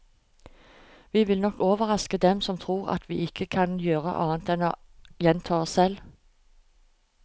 Vi vil nok overraske dem som tror at vi ikke gjør annet enn å gjenta oss selv.